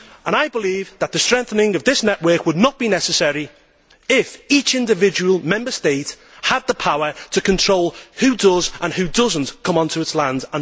I believe that the strengthening of this network would not be necessary if each individual Member State had the power to control who does and who does not come onto its lands.